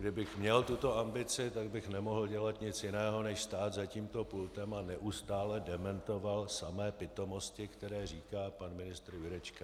Kdybych měl tuto ambici, tak bych nemohl dělat nic jiného než stát za tímto pultem a neustále dementovat samé pitomosti, které říká pan ministr Jurečka.